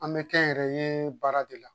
An bɛ kɛnyɛrɛye baara de la